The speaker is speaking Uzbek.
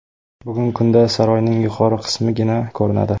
Bugungi kunda saroyning yuqori qismigina ko‘rinadi.